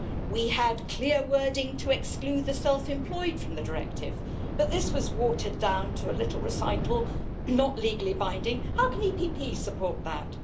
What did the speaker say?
We had clear wording to exclude the self-employed from the Directive, but this was watered down to a little recital, not legally binding. How can the EPP support that?